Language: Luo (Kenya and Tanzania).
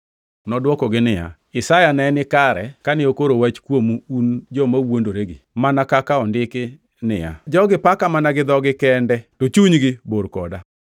Nodwokogi niya, “Isaya ne ni kare kane okoro wach kuomu un joma wuondoregi; mana kaka ondiki ni, “ ‘Jogi paka mana gi dhogi kende, to chunygi bor koda.